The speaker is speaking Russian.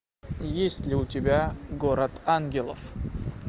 есть ли у тебя город ангелов